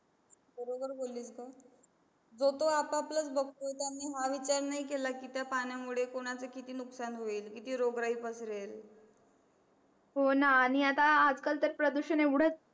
बरोबर बोल्लीस गं जो तो आपआपलचं बघतोय त्यांनी हा विचार नाही केला की त्या पाण्यामुळे कोणाचं किती नुकसान होईल किती रोगरायी पसरेल हो ना आणि आता आजकाल तर प्रदुषण एवढंच